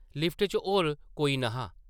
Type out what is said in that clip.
Lift च होर कोई न’हा ।